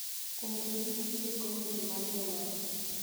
kuom bedo ni nitie komiti mar jolony